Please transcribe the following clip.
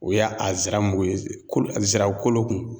O y'a a ziramu ye, ko a zira kolo kun